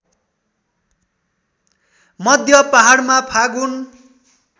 मध्य पहाडमा फागुन